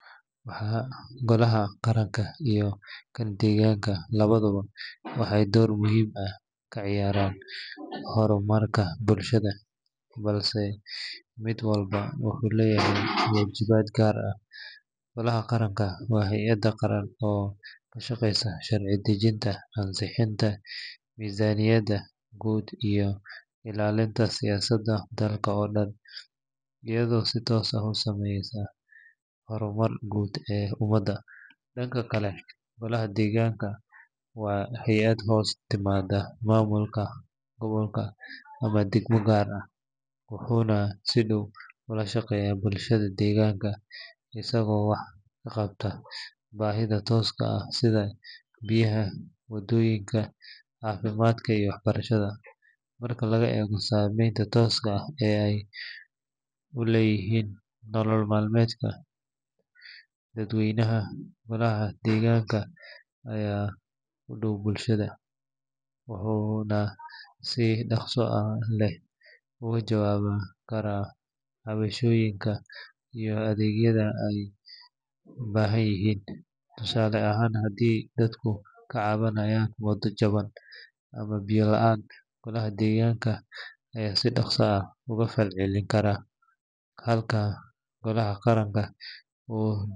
Golaha qaranka iyo kan deegaanka labaduba waxay door muhiim ah ka ciyaaraan horumarka bulshada, balse mid walba wuxuu leeyahay waajibaad gaar ah. Golaha qaranka waa hay’ad qaran oo ka shaqeysa sharci dejinta, ansixinta miisaaniyadda guud iyo ilaalinta siyaasadda dalka oo dhan, iyadoo si toos ah u saameysa horumarka guud ee ummadda. Dhanka kale, golaha deegaanka waa hay’ad hoos timaadda maamulka gobolka ama degmo gaar ah, wuxuuna si dhow ula shaqeeyaa bulshada deegaanka, isagoo wax ka qabta baahiyaha tooska ah sida biyaha, wadooyinka, caafimaadka iyo waxbarashada. Marka laga eego saamaynta tooska ah ee ay ku leeyihiin nolol maalmeedka dadweynaha, golaha deegaanka ayaa u dhow bulshada, wuxuuna si dhaqso leh uga jawaabi karaa cabashooyinka iyo adeegyada ay u baahan yihiin. Tusaale ahaan, haddii dadku ka cabanayaan wado jaban ama biyo la’aan, golaha deegaanka ayaa si dhakhso ah uga falcelin kara, halka golaha qaranka uu.